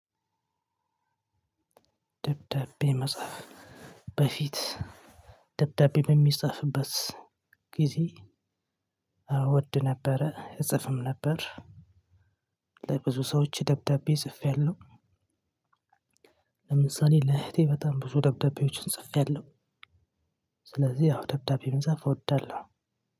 ደብዳቤ መጻፍ በፊት ደብዳቤ በሚጻፍበት ጊዜ እወድ ነበረ እጽፍም ነበር። ለብዙ ሰዎች ደብዳቤ ጽፌያለሁ። ለምሳሌ ለእህቴ በጣም ብዙ ደብዳቤዎችን ጽፌያለሁ። ስለዚህ ያው ደብዳቤ መጻፍ እወዳለሁ።